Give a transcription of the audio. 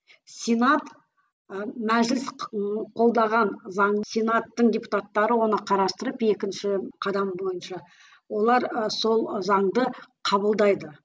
сенат ы мәжіліс қолдаған заң сенаттың депутаттары оны қарастырып екінші қадам бойынша олар ы сол ы заңды қабылдайды